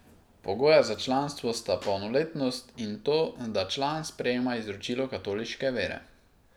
Pogoja za članstvo sta polnoletnost in to, da član sprejema izročilo katoliške vere.